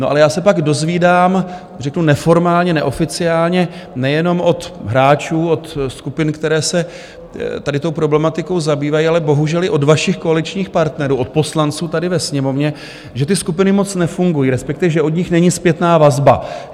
No ale já se pak dozvídám - řeknu neformálně, neoficiálně - nejenom od hráčů, od skupin, které se tady tou problematikou zabývají, ale bohužel i od vašich koaličních partnerů, od poslanců tady ve Sněmovně, že ty skupiny moc nefungují, respektive že od nich není zpětná vazba.